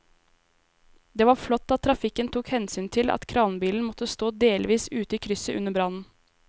Det var flott at trafikken tok hensyn til at kranbilen måtte stå delvis ute i krysset under brannen.